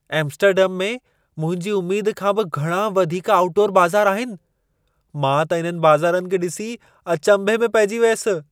Amsterdam में मुंहिंजी उमेद खां बि घणा वधीक आउटडोर बाज़ार आहिनि। मां त इन्हनि बाज़ारनि खे ॾिसी अचंभे में पइजी वियसि।